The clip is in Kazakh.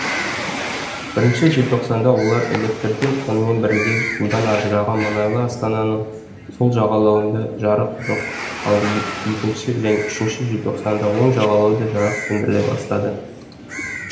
бірінші желтоқсанда олар электрден сонымен бірге судан ажыраған мұнайлы астананың сол жағалауында жарық жоқ ал екінші және үшінші желтоқсанда оң жағалау да жарық сөндіріле бастады